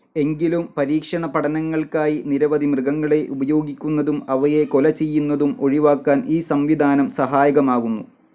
എങ്കിലും പരീക്ഷണ പഠനങ്ങൾക്കായി നിരവധി മൃഗങ്ങളെ ഉപയോഗിക്കുന്നതും അവയെ കൊലചെയ്യന്നതും ഒഴിവാക്കാൻ ഈ സംവിധാനം സഹായകമാകുന്നു.